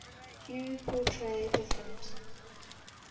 hue portray different